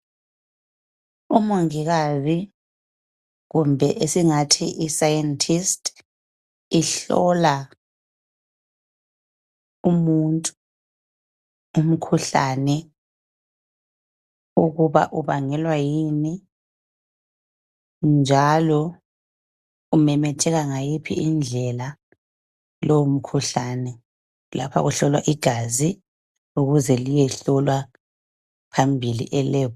Umongikazi kumbe esingathi I scientist , ihlola umuntu umkhuhlane ukuba ubangelwa yini njalo umemetheka ngayiphi indlela lowomkhuhlane lapha kuhlolwa igazi ukuze liyehlolwa phambili e lab